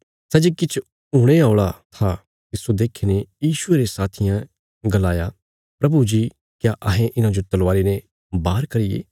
सै जे किछ हुणे औल़ा था तिस्सो देखीने यीशुये रे साथियें गलाया प्रभु जी क्या अहें इन्हांजो तलवारी ने बार करिये